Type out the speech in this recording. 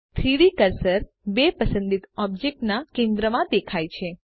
3ડી કર્સર બે પસંદિત ઑબ્જેક્ટ્સના કેન્દ્રમાં દેખાય છે